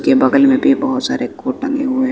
के बगल में भी बहोत सारे कोट टंगे में हुए--